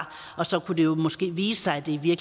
så kunne det jo måske vise sig at det i